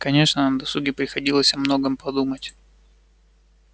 конечно на досуге приходилось о многом подумать